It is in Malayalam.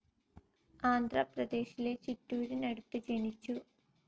ആന്ധ്രാ പ്രദേശിലെ ചിറ്റൂരിനടുത്ത് ജനിച്ചു.